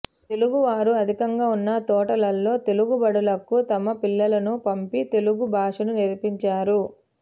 తెలుగువారు అధికంగా ఉన్న తోటలలో తెలుగుబడులకు తమ పిల్లలను పంపి తెలుగు భాషను నేర్పించారు